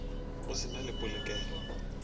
go se na le polokelo